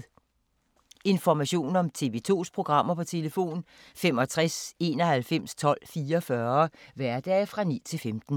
Information om TV 2's programmer: 65 91 12 44, hverdage 9-15.